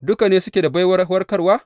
Duka ne suke da baiwar warkarwa?